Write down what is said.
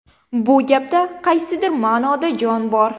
Bu gapda qaysidir ma’noda jon bor.